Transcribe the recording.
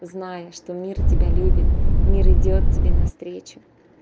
зная что мир тебя любит мир идёт тебе навстречу